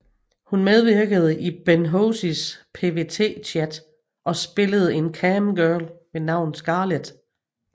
Hun medvirkede i Ben Hozies PVT Chat og spillede en camgirl ved navn Scarlet